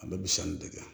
A bɛ bi sanni dege